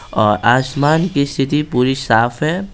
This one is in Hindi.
और आसमान की स्थिति पूरी साफ है।